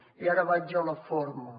i ara vaig a la forma